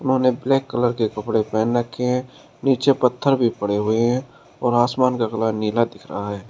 उन्होंने black colour के कपड़े पहन रखे हैं नीचे पत्थर भी पड़े हुए हैं और आसमान का कलर नीला दिख रहा है।